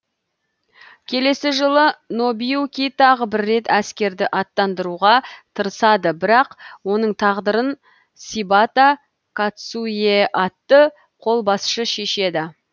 келесі жылы нобуюки тағы бір рет әскерді аттандыруға тырысады бірақ оның тағдырын сибата кацуиэ атты қолбасшы шешеді